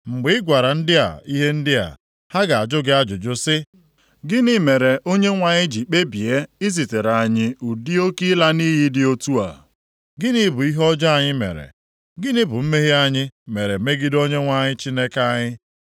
“Mgbe ị gwara ndị a ihe ndị a, ha ga-ajụ gị ajụjụ sị, ‘Gịnị mere Onyenwe anyị ji kpebie izitere anyị ụdị oke ịla nʼiyi dị otu a? Gịnị bụ ihe ọjọọ anyị mere? Gịnị bụ mmehie anyị mere megide Onyenwe anyị Chineke anyị?’